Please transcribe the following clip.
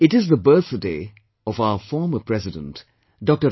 It is the birthday of our former President, Dr